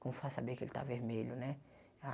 como vai saber que ele tá vermelho, né? A